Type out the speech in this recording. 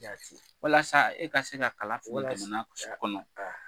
Walasa e ka se ka kalafili jamana kɔnɔ